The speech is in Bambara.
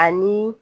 Ani